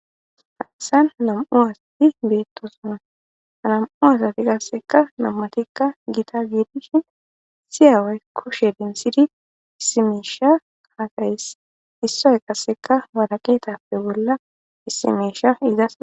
haysan nam7u asatti beettosuna anam7u asati qasseka nammatikka giita giidishin siyaaway kushe densidi isimeesha kaaqayes issoy qasseka waraqeetappe bolla issimesha izas